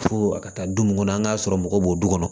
Fo a ka taa du mun kɔnɔ an ŋ'a sɔrɔ mɔgɔ b'o du kɔnɔ